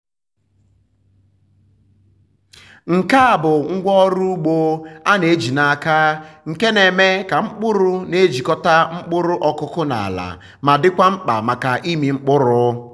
nke a bụ ngwá ọrụ ugbo a na-eji n’aka nke na-eme ka mkpụrụ na-ejikọta mkpụrụ ọkụkụ na ala ma dịkwa mkpa maka ịmị mkpụrụ.